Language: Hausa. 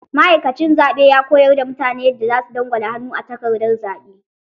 Ma'aikacin zaɓe ya koyar da mutane yadda za su dangwala hannu a takardar zaɓe.